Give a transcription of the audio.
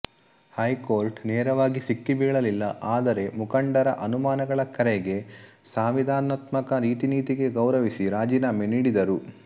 Harcourt ನೇರವಾಗಿ ಸಿಕ್ಕಿ ಬೀಳಲ್ಲಿಲ್ಲ ಆದರೆ ಮುಂಖಂಡರ ಅನುಮಾನಗಳ ಕರೆಗೆ ಸಾಂವಿಧಾನಾತ್ಮಕ ರೀತಿನೀತಿಗೆ ಗೌರವಿಸಿ ರಾಜೀನಾಮೆ ನೀಡಿದರು